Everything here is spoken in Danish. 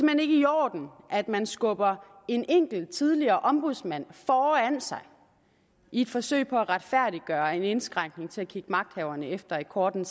i orden at man skubber en enkelt tidligere ombudsmand foran sig i et forsøg på at retfærdiggøre en indskrænkning til at kigge magthaverne efter i kortene